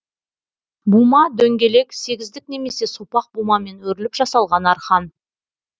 бума дөңгелек сегіздік немесе сопақ бумамен өріліп жасалған арқан